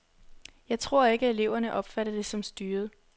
Jeg tror ikke, at eleverne opfatter det som styret.